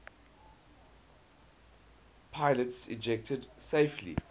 pilots ejected safely